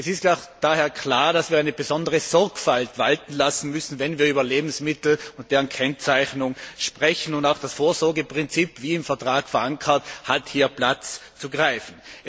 Es ist daher klar, dass wir eine besondere Sorgfalt walten lassen müssen, wenn wir über Lebensmittel und deren Kennzeichnung sprechen, und auch das Vorsorgeprinzip wie im Vertrag verankert hat hier Platz zu greifen.